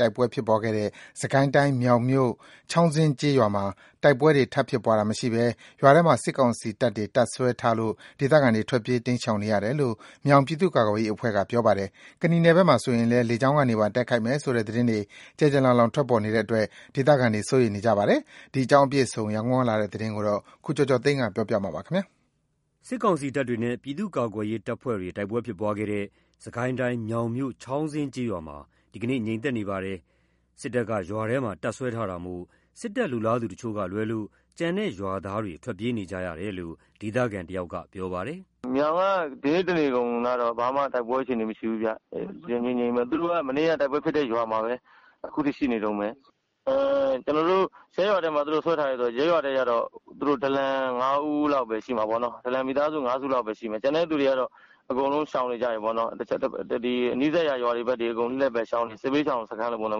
တိုက်ပွဲတွေဖြစ်ခဲ့တဲ့ စစ်ကိုင်းတိုင်း မြောင်မြို့နယ်ထဲက ကျေးရွာမှာ စစ်တပ်က ဝင်ရောက် တပ်စွဲထားတဲ့အတွက် ဒေသခံတွေ ထွက်ပြေးနေကြပါတယ်။ ကနီနယ်ဘက်မှာဆိုလည်း စစ်လေယာဉ်တွေ လာဝဲနေတာကြောင့် လေကြောင်းကနေ လာတိုက်မှာ ဒေသခံတွေ စိုးရိမ်နေကြပါတယ်။ ဒီအကြောင်းအပြည့်အစုံ ရန်ကုန်ကလာတဲ့သတင်းကို ကိုကျော်ကျော်သိန်းက ပြောပြပါမယ်။ စစ်ကောင်စီတပ်တွေနဲ့ ပြည်သူ့ကာကွယ်ရေးတပ်ဖွဲ့တွေ တိုက်ပွဲဖြစ်ပွားခဲ့တဲ့ စစ်ကိုင်းတိုင်း မြောင်မြို့ ချောင်းဇင်းကျေးရွာမှာ ဒီနေ့ ငြိမ်သက်နေပါတယ်။ စစ်တပ်က ရွာထဲမှာ တပ်စွဲထားတာမို့ စစ်တပ်လိုလားသူတချို့ကလွဲလို့ ကျန်တဲ့ရွာသားတွေ ထွက်ပြေးနေကြတယ်လို့ ဒေသခံတယောက်က ပြောကြပါတယ်။ “မြောင်ကဒီနေ့တနေကုန် ဘာမှ တိုက်ပွဲအခြေအနေမရှိဘူးခင်ဗျ။ တည်တည်ငြိမ်ငြိမ်ပဲ သူတို့က မနေ့က တိုက်ပွဲဖြစ်တဲ့ရွာမှာပဲ အခုထိရှိနေတုန်းပဲ။ ကျနော်တို့ ရပ်ရွာထဲမှာသူတို့စွဲထားတယ်ဆိုတော့ သူတို့ ဒလန် ၅ ဦး လောက်ပဲရှိမှာပေါ့နော်။ မိသားစု ၅ စုလောက်ပဲရှိမယ်။ ကျန်တဲ့သူတွေက အကုန်လုံး ရှောင်နေကြပြီပေါ့နော်။ နီးစပ်ရာရွာတွေဘက်ကို စစ်ဘေးရှောင် စခန်းလိုပုံစံ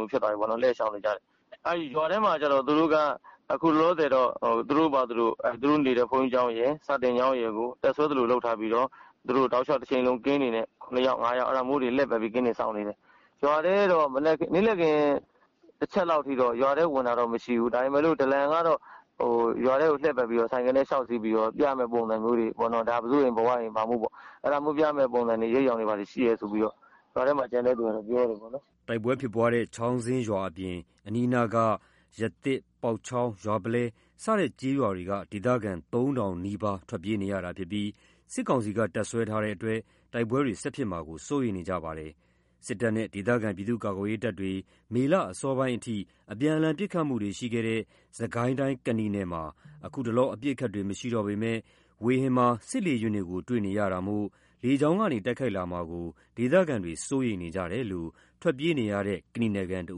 မျိုးဖြစ်သွားပြီပေါ့နော် လှည့်ရှောင်နေကြတယ်။ ရွာထဲမှာ သူတို့က အခုလောလောဆယ်တော့ သူတို့နေတဲ့ ဘုန်းကြီးကျောင်းရယ် စာသင်ကျောင်းရယ်ကို တပ်စွဲသလို လုပ်ထားပြီးတော့ သူတို့ကင်းတွေနဲ့ ၂ ယောက် ၅ ယောက် အဲ့ဒါမျိုးတွေ လှည့်ပတ်ပြီး ကင်းတွေ စောင့်နေတယ်။ ရွာထဲတော့ နေ့လည်ခင်း တချက်လောက်ထိ ဝင်တာတော့မရှိဘူး။ ဒါပေမယ့် ဒလံက ရွာထဲကို ဆိုင်ကယ်နဲ့လျှောက်စီးပြီးတော့ ဒါဘယ်သူ့အိမ် ဘယ်ဝါ့အိမ် ဒါမျိုးပေါ့ အဲ့ဒါမျိုးပြမယ့် အရိပ်အယောင်တွေ ရှိတယ်ဆိုပြီးတော့ ရွာထဲမှာ ကျန်တဲ့သူကတော့ ပြောတယ်ပေါ့နော်။" တိုက်ပွဲဖြစ်ပွားတဲ့ ချောင်းဇင်းရွာအပြင် အနီးအနားက ရသစ် ပေါက်ချောင်း ရွာပုလဲ စတဲ့ ကျေးရွာက ဒေသခံ ၃,၀၀၀ နီးပါး ထွက်ပြေးနေရတာဖြစ်ပြီး စစ်ကောင်စီက တပ်စွဲထားတဲ့အတွက် တိုက်ပွဲတွေ ဆက်ဖြစ်မှာကို စိုးရိမ်နေပါတယ်။ စစ်တပ်နဲ့ ဒေသခံပြည်သူ့ကာကွယ်ရေးတပ်တွေ မေလအစောပိုင်းအထိ အပြန်အလှန် ပစ်ခတ်မှုတွေ ရှိခဲ့တဲ့ စစ်ကိုင်းတိုင်း ကနီနယ်မှာ အခု အပစ်အခတ်တွေ မရှိတော့ပေမဲ့ ဝေဟင်မှာ စစ်လေယာဉ်တွေကို တွေ့နေရတာမို့ လေကြောင်းကနေ တိုက်ခိုက်လာမှာကို ဒေသခံတွေ စိုးရိမ်နေကြတယ်လို့ ထွက်ပြေးနေရတဲ့ ကနီနယ်ခံတ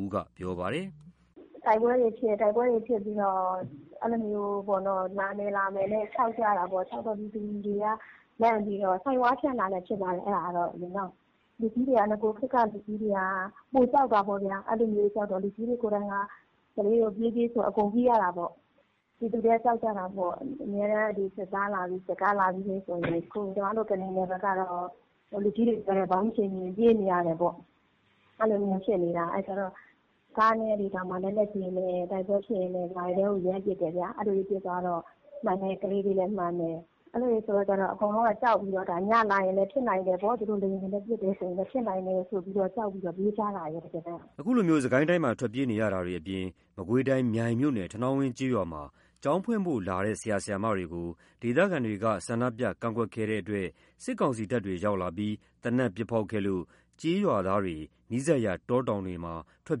ဦးက အခုလိုပြောပါတယ်။ “တိုက်ပွဲတွေဖြစ်ပြီးတော့ လာမယ်လာမယ်တဲ့ ခြောက်ကြတာပေါ့။ ပြည်သူတွေကလန့်ပြီးတော့ ဆိုက်ဒ်ဝါး ဖြန့်တာလည်း ဖြစ်နိုင်တယ်။ လူကြီးတွေက နဂိုခေတ်က လူကြီးတွေက ပိုကြောက်တာပေါ့ဗျာ။ အဲ့လိုပိုကြောက်တော့ ပြေးပြေးဆိုတော့ အကုန်ပြေးရတာပေါ့။ ပြည်သူတွေက ကြောက်ကြတာပေါ့။ အမြဲတမ်း စစ်သားလာပြီ စစ်ကားလာပြီဆိုရင် လူကြီးတွေက ပြေးနေရတယ်ပေါ့။ အဲ့လိုမျိုးဖြစ်နေတာ ကားတွေနဲ့ လက်နက်ကြီးတွေနဲ့ တိုက်ပွဲဖြစ်ရင် ရွာထဲကို ရမ်းပစ်တယ်ဗျာ ပစ်တော့ မှန်တဲ့ကလေးတွေလည်း မှန်တယ်။ အဲ့လိုဆိုတော့ အကုန်လုံးက ကြောက်ပြီးတော့ ညလာရင်လည်း ဖြစ်နိုင်တယ် သူတို့လေယာဉ်တွေနဲ့ ပစ်တယ်ဆိုလည်း ဖြစ်နိုင်တယ်ဆိုပြီး ကြောက်ပြီးတော့ပြေးကြတာပေါ့။” အခုလို စစ်ကိုင်းတိုင်းမှာ ထွက်ပြေးနေရတာတွေအပြင် မကွေးတိုင်း မြိုင်မြို့နယ် ထနောင်းဝင်းကျေးရွာမှာ ကျောင်းဖွင့်လှစ်ဖို့ လာရောက်တဲ့ ဆရာ ဆရာမတွေကို ဒေသခံတွေက ဆန္ဒထုတ်ဖော်တာတွေ ပြုလုပ်ခဲ့လို့ စစ်ကောင်စီတပ်တွေရောက်လာပြီး သေနတ်ပစ်ဖောက်တာတွေ ပြုလုပ်ခဲ့လို့ ကျေးရွာသားတွေဟာလည်း နီးစပ်ရာ တောတောင်တွေမှာ ထွက်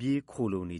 ပြေး ခိုလှုံနေ